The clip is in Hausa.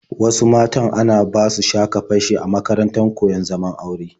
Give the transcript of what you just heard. Wasu matan ana basu sha-ka-fashe a makarantar koyon zaman aure.